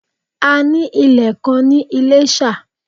A ní ilè kan ní ilésà